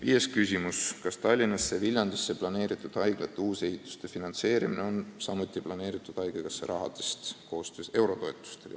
Viies küsimus: "Kas Tallinnasse ja Viljandisse planeeritud haiglate uusehituste finantseerimine on planeeritud samuti Eesti Haigekassa rahadest ?